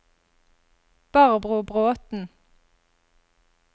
Barbro Bråten